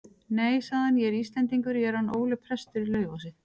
Nei, sagði hann,-ég er Íslendingur, ég er hann Óli prestur í Laufási.